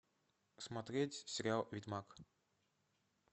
смотреть сериал ведьмак